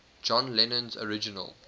john lennon's original